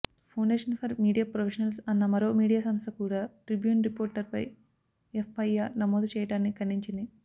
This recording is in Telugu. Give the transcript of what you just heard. ఫౌండేషన్ ఫర్ మీడియా ఫ్రొఫెషనల్స్ అన్న మరో మీడియా సంస్థ కూడా ట్రిబ్యూన్ రిపోర్టర్పై ఎఫ్ఐఆర్ నమోదు చేయడాన్ని ఖండించింది